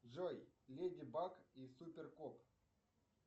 джой леди баг и супер кот